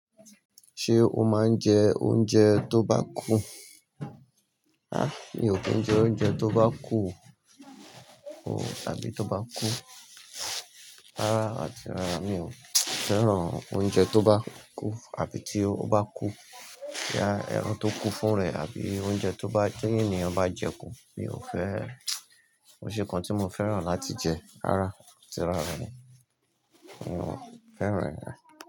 Ṣé o máa ń jẹ oúnjẹ tó bá kú? Há, mi ò kí ń jẹ oúnjẹ tó bá kú o, o, àbí tó bá kú. Rárá, atí rára, mi ò fẹ́ràn oúnjẹ tó bá kú àbí tí ó bá kú. Já, ẹran tó kú fún rẹ̀ àbí oúnjẹ tó bá tí ènìyàn bá jẹ kú mi ò fẹ́ ẹ. Ko ṣe nkań tí mo fẹ́ràn láti jẹ. Rárá, atí rára, mi ò fẹ́ràn rẹ̀